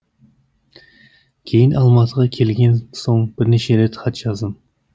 кейін алматыға келген соң бірнеше рет хат жаздым